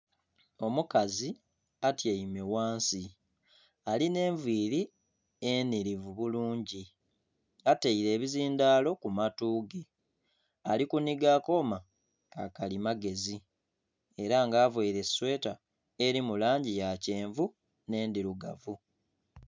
Omukazi atyaime ghansi alina enviiri enirivu bulungi ataire ebizindalo kumatu ge alikuniga akooma kakalimagezi era nga avaire esweta eri mulangi ya kyenvu n'endhirugavu.